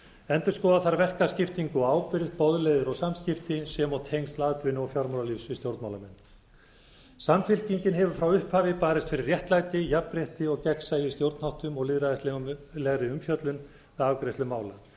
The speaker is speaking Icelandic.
endurskoða þarf verkaskiptingu og ábyrgð boðleiðir og samskipti sem og tengsl atvinnu og fjármálalífs við stjórnmálamenn samfylkingin hefur frá upphafi barist fyrir réttlæti jafnrétti og gegnsæi í stjórnarháttum og lýðræðislegri umfjöllun við afgreiðslu mála